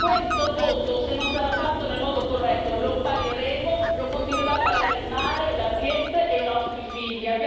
Questa votazione, se non sarà fatta in modo corretto, la pagheremo, continuerà a pagarla il mare, l'ambiente e i nostri figli.